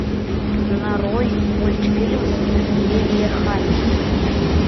нарой мультфильм лиллехаммер